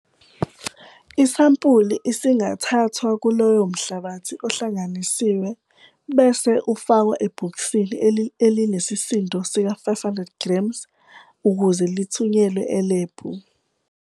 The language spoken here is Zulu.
Isampuli isingathathwa kulowo mhlabathi ohlanganisiwe bese ufakwa ebhokisini elinesisindo sika-500 g ukuze lithunyelwe elebhu.